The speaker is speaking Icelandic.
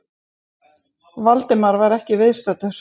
Valdimar var ekki viðstaddur